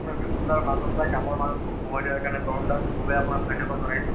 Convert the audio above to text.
আপোনাৰ ব্যস্ততাৰ মাজত বা কামৰ মাজত মোক সময় দিয়াৰ কাৰণে তৰুণ দাক খুবেই আপোনাক ধন্যবাদ জনাইছো